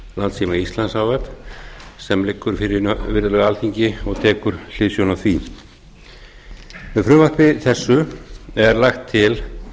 landssíma íslands h f sem liggur fyrir virðulegu alþingi og tekur hliðsjón af því með frumvarpi þessu er lagt til